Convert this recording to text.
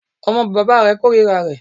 Ọmọ bàbá rẹ̀ kòrira rẹ̀.